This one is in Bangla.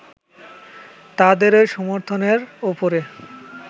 তাদেরই সমর্থনের ওপরে